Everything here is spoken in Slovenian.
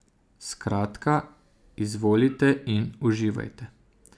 Skratka, izvolite in uživajte ...